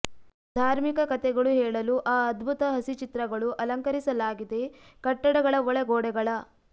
ಧಾರ್ಮಿಕ ಕಥೆಗಳು ಹೇಳಲು ಆ ಅದ್ಭುತ ಹಸಿಚಿತ್ರಗಳು ಅಲಂಕರಿಸಲಾಗಿದೆ ಕಟ್ಟಡಗಳ ಒಳ ಗೋಡೆಗಳ